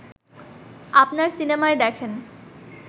আপনার সিনেমায় দেখেন